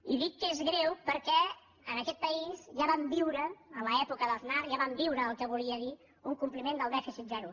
i dic que és greu perquè en aquest país ja vam viure en l’època d’aznar ja ho vam viure el que volia dir un compliment del dèficit zero